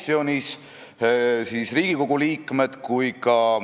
Ma olen sellest kevadest saati teinud järelepärimisi päris mitmele volikogule.